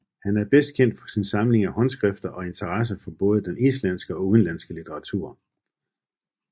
Han er bedst kendt for sin samling af håndskrifter og interesse for både den islandske og udenlandske litteratur